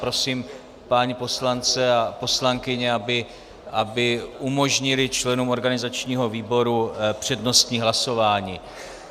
Prosím pány poslance a poslankyně, aby umožnili členům organizačního výboru přednostní hlasování.